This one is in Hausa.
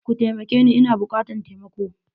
Kutaimakeni Ina bukatan taimako.